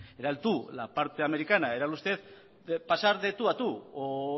era el tú la parte americana era el usted pasar de tú a tú o